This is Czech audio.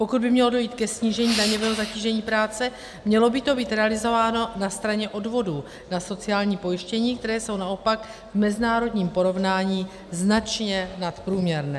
Pokud by mělo dojít ke snížení daňového zatížení práce, mělo by to být realizováno na straně odvodů na sociální pojištění, které jsou naopak v mezinárodním porovnání značně nadprůměrné.